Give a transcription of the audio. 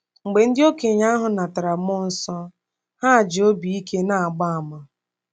Mgbe ndị okenye ahụ natara mmụọ nsọ, ha ji obi ike na-agba àmà.